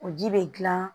O ji bɛ gilan